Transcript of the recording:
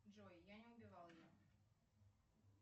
джой я не убивал ее